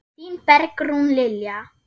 Þín Bergrún Lilja.